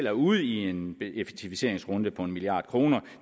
er ude i en effektiviseringsrunde på en milliard kroner